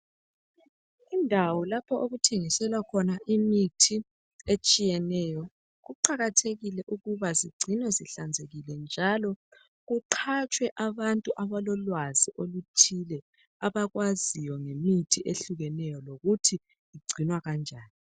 Indawo lapho okuthengiselwa khona imithi etshiyeneyo kuqakathekile ukuba zingcinwe zinhlanzekile njalo kuqhatshwe abantu abalolwazi oluthile abakwaziyo ngemithi ehlukeneyo lokuthi ungcinwakanjani.